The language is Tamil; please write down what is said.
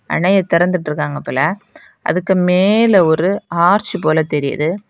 அணைய திறந்துட்டு இருக்காங்க போல அதுக்கு மேல ஒரு ஆர்ச் போல தெரியிது.